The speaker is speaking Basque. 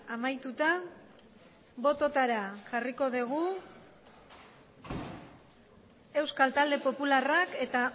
amaituta bototara jarriko dugu euskal talde popularrak eta